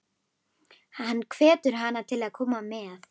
Hann hvetur hana til að koma með.